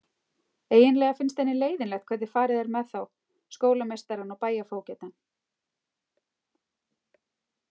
Eiginlega finnst henni leiðinlegt hvernig farið er með þá skólameistarann og bæjarfógetann.